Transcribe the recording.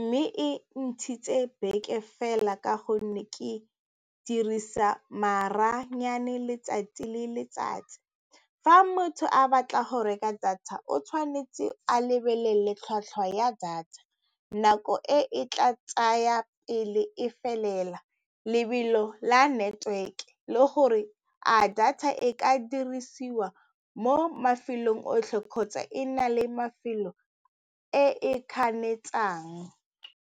mme e ntshitse beke fela ka gonne ke dirisa maranyane letsatsi le letsatsi. Fa motho a batla go reka data o tshwanetse a lebelele tlhwatlhwa ya data, nako e e tla tsaya pele e felela lebelo la network le gore a data e ka dirisiwa mo mafelong otlhe kgotsa e na le mafelo e e kganetsang.